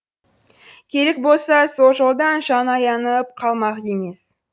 керек болса сол жолдан жан аянып қалмақ емес